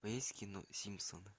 у тебя есть кино симпсоны